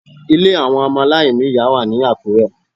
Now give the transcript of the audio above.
Ilé àwọn ọmọ aláìní ìyá wà ní Àkúrẹ́